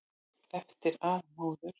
Eftir að móður